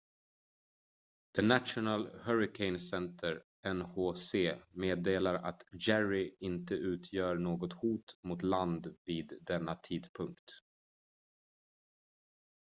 the national hurricane center nhc meddelar att jerry inte utgör något hot mot land vid denna tidpunkt